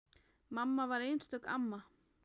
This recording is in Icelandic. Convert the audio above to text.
Mamma var einstök amma.